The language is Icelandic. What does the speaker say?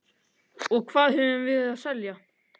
Og hvað höfum við að selja?